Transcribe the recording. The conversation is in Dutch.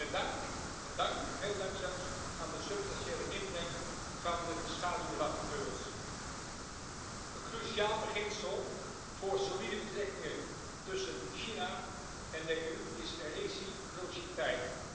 Met dank, veel dank zelfs, aan de substantiële inbreng van de schaduwrapporteurs. Een cruciaal beginsel voor solide betrekkingen tussen de EU en China is wederkerigheid.